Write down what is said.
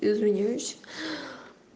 извиняюсь